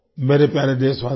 मेरे प्यारे देशवासियो